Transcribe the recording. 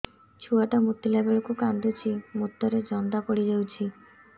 ଛୁଆ ଟା ମୁତିଲା ବେଳକୁ କାନ୍ଦୁଚି ମୁତ ରେ ଜନ୍ଦା ପଡ଼ି ଯାଉଛି